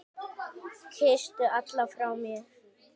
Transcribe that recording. Kysstu alla frá mér.